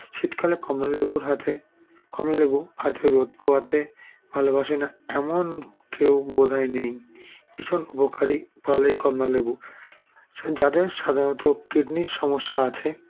শীতকালে কমলালেবুর হাতে কমলালেবু হাতে রোদ পোহাতে ভালোবাসেনা এমন কেউ বোধয় নেই ভীষণ উপকারী ফল এই কমলালেবু সযাদের সাধারণত kidney -র সমস্যা আছে